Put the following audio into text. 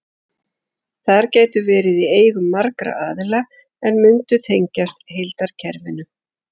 Þær gætu verið í eigu margra aðila en mundu tengjast heildarkerfinu.